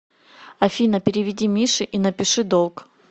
афина переведи мише и напиши долг